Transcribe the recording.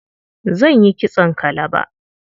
Zan yi kitson kalaba.